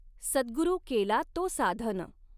सद्गुरु केला तो साधन।